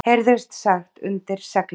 heyrðist sagt undir seglinu.